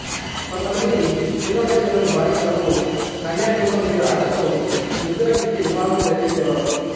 కొంతమంది చిన్న వయసులోని బాలికలను కన్యాశుల్కం మీద ఆశతో వృద్ధులకిచ్చి వివాహం జరిపించే వారు